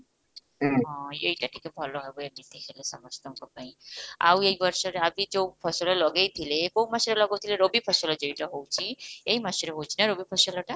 ହଁ, ଏଇଟା ଟିକେ ଭଲ ହେବ ଏମିତି ହେଲେ ସମସ୍ତଙ୍କ ପାଇଁ ଆଉ ଏଇ ବର୍ଷରେ ଯଉ ଫସଲ ଲଗେଇଥିଲେ, କୋଉ ମାସରେ ଲଗେଇଥିଲେ ରବି ଫସଲ ଯେଇଟା ହଉଛି ଏଇ ମାସରେ ହଉଛି ନା ରବି ଫସଲଟା?